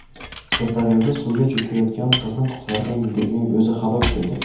Sirdaryoda suvga cho‘kayotgan qizni qutqargan yigitning o‘zi halok bo‘ldi.